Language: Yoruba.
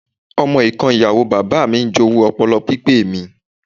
Ọmọ ìkan Ìyàwó bàbáà mi ń jowú ọpọlọ pípé mi.